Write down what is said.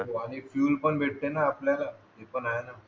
आणि पिऊन पण भेटते ना आपल्याला हे पण आहे ना